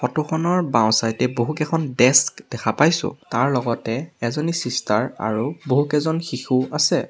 Photo খনৰ বাওঁ-চাইড এ বহুকেইখন ডেস্ক দেখা পাইছোঁ তাৰলগতে এজনী চিষ্টাৰ আৰু বহুকেইজন শিশু আছে।